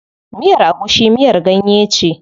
Miyar agushi miyar ganye ce.